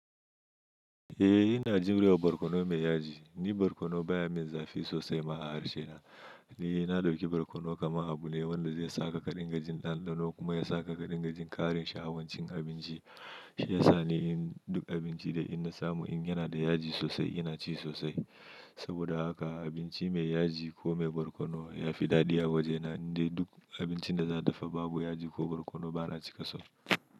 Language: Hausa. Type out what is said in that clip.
Eh ina jure barkono mai yaji, ni barkono baya min zafi sosai ma a harshe na, ni na ɗauki barkono kaman abu ne wanda zai saka ƙadinga jin ɗanɗano kuma ya saka ƙarin gajin ƙarin sha'awan cin abinci, shi ya sa ni in duk abinci da inna samu in yana da yaji sosai ina ci sosai, saboda haka abinci mai yaji ko mai barkono ya fi daɗi a waje na indai duk abincin da za a dafa babu yaji ko barkono bana cika son.